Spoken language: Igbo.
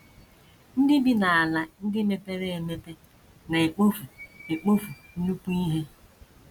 NDỊ bi n’ala ndị mepere emepe na - ekpofu ekpofu nnukwu ihe.